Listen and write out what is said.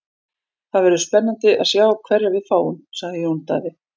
Það verður spennandi að sjá hverja við fáum, sagði Jón Daði.